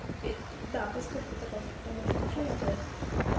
да подскажите пожалуйста кто может ещё сделать